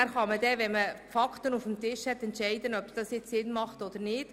Und wenn danach die Fakten auf dem Tisch liegen, kann man entscheiden, ob es Sinn macht oder nicht.